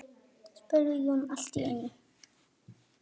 spurði Jón allt í einu.